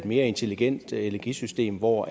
mere intelligent energisystem hvor